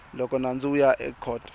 loko nandzu wu ya ekhoto